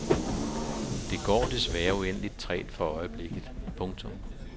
Det går desværre uendeligt trægt for øjeblikket. punktum